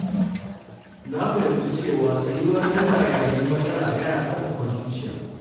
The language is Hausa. Na fahimci cewa tsayuwar daka yayin matsala yana ƙarfafa zuciya.